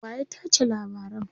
waya tace labaran?